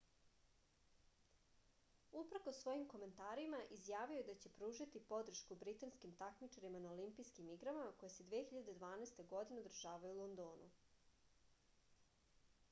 uprkos svojim komentarima izjavio je da će pružiti podršku britanskim takmičarima na olimpijskim igrama koje se 2012. održavaju u londonu